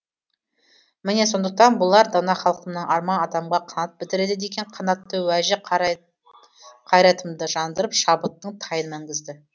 міне сондықтан болар дана халқымның арман адамға қанат бітіреді деген қанатты уәжі қайратымды жандырып шабыттың тайын мінгізді